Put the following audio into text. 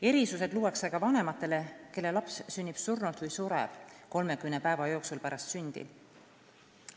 Erisused luuakse ka vanematele, kelle laps sünnib surnult või sureb 30 päeva jooksul pärast sündi.